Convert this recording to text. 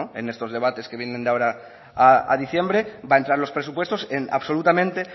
en estos debates que vienen de ahora a diciembre va a entrar los presupuestos en absolutamente